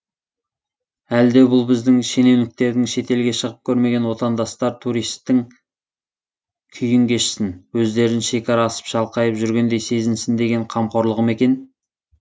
әлде бұл біздің шенеуніктердің шетелге шығып көрмеген отандастар туристтің күйін кешсін өздерін шекара асып шалқайып жүргендей сезінсін деген қамқорлығы ма екен